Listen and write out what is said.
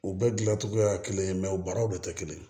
U bɛɛ gilancogoya kelen mɛ u baaraw de tɛ kelen